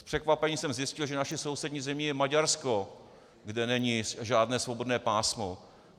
S překvapením jsem zjistil, že naší sousední zemí je Maďarsko, kde není žádné svobodné pásmo.